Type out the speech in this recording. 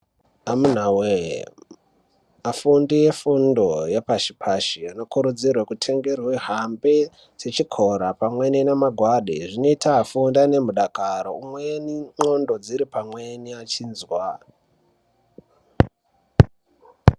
Amunawee afundi efundo yepashi vanokurudzirwa kutengerwa hembe dzechikora pamwe nemangwada zvinoita kuti vafunde nemudakaro pamweni ndxondo dziri pamweni dzechizwa.